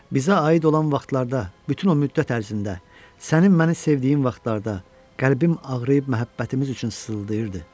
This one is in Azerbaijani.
Bizə aid olan vaxtlarda, bütün o müddət ərzində sənin məni sevdiyin vaxtlarda qəlbim ağrıyıb məhəbbətimiz üçün sıldayırdı.